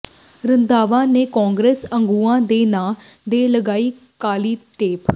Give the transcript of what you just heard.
ਰੰਧਾਵਾ ਨੇ ਕਾਂਗਰਸ ਆਗੂਆਂ ਦੇ ਨਾਂ ਤੇ ਲਗਾਈ ਕਾਲੀ ਟੇਪ